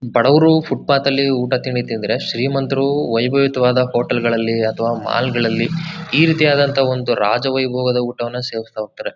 ಬಡವರು ಫೂಟ್ಪಾಥ್ ಅಲ್ಲಿ ಊಟ ತಿಂಡಿ ತಿಂದ್ರೆ ಶ್ರೀಮಂತರು ವೈಭವಿತವಾದ ಹೋಟೆಲ್ ಗಳಲ್ಲಿ ಅಥವಾ ಮಾಲ್ ಗಳಲ್ಲಿ ಈ ರೀತಿಯಾದಂತಹ ಒಂದು ರಾಜ ವೈಭವದ ಊಟವನ್ನು ಸೇವಿಸ್ತಾ ಹೋಗ್ತಾರೆ.